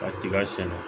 Ka tiga sɛnɛ